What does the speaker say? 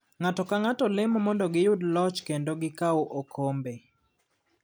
Ng'ato ka ng'ato lemo mondo giyud loch kendo gi kaw okombe.